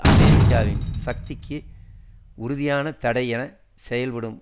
அமெரிக்காவின் சக்திக்கு உறுதியான தடை என செயல்படும்